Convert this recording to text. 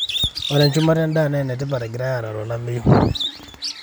Ore enchumata endaa naa enetipat egirae arare olameyu.